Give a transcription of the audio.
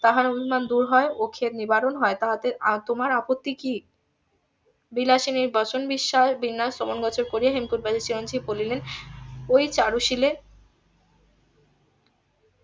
তাহার অভিমান দূর হয় ও . নিবারণ হয় তাহাতে তোমার আপত্তি কি বিলাসিনীর বচন বিস্ময় বিন্যাস . হেমকুট বাসীর চিরঞ্জিব বলিলেন ওই চারুশীলের